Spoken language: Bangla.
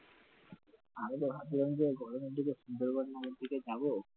আরো ভাবছিলাম যে গরমের দিকে সুন্দরবন টনের দিকে যাবো